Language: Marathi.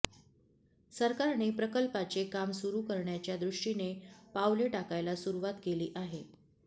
सरकारने प्रकल्पाचे काम सुरू करण्याच्या दृष्टीने पावले टाकायला सुरुवात केली आहे